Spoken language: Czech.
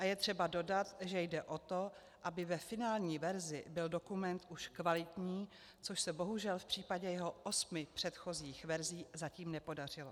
A je třeba dodat, že jde o to, aby ve finální verzi byl dokument už kvalitní, což se bohužel v případě jeho osmi předchozích verzí zatím nepodařilo.